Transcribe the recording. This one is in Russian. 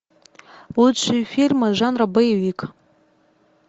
лучшие фильмы жанра боевик